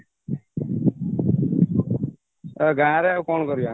ଗାଁରେ ଆଉ କ'ଣ କରିବା